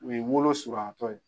U ye wolo suruyan tɔ ye.